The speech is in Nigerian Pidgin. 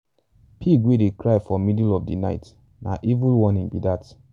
pig wey dey cry for middle of di night na evil warning be dat.